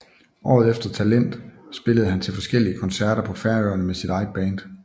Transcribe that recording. Året efter Talent spillede han til forskellige konserter på Færøerne med sit eget band